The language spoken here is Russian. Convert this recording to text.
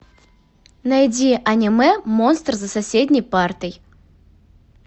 найди аниме монстр за соседней партой